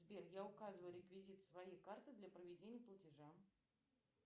сбер я указываю реквизиты своей карты для проведения платежа